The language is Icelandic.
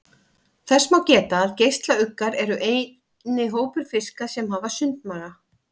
Þess má geta að geislauggar eru eini hópur fiska sem hafa sundmaga.